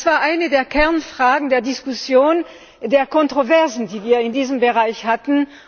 Das war eine der Kernfragen der Diskussion, der Kontroversen, die wir in diesem Bereich hatten.